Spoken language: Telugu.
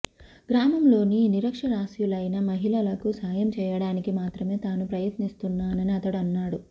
గ్రామంలోని నిరక్షరాస్యులైన మహిళలకు సాయం చేయడానికి మాత్రమే తాను ప్రయత్నిస్తున్నానని అతడు అన్నాడు